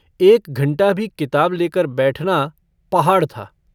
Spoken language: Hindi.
एक घंटा भी किताब लेकर बैठना पहाड़ था।